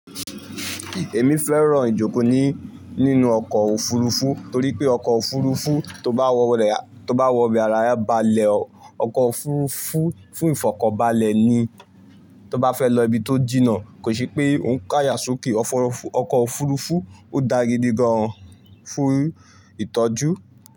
Èmi fẹ́ràn ìjókòó ní nínú ọkọ̀ òfurufú torí pé ọkọ̀ òfurufú tó bá wọ́ rẹ̀, tó bá wọ bẹ̀ aràre a balẹ̀ o ọkọ̀ òfurufú fún ìfọ̀kọ̀balẹ̀ ni. Tó bá fẹ́ lọ ibi tó jìnnà kò ṣe pé òun ń ká yà sọ́ke. Ọkọ̀ òfurufú ò dá gidi gan an fún ìtọ́jú.